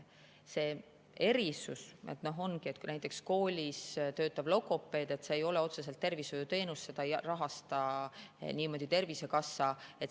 See erisus ongi see, et kui näiteks koolis töötab logopeed, siis see ei ole otseselt tervishoiuteenus, seda ei rahasta niimoodi Tervisekassa.